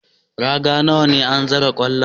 Raga nawa ne an zira kwallaye?